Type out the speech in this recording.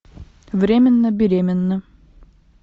временно беременна